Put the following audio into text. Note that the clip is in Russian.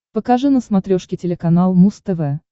покажи на смотрешке телеканал муз тв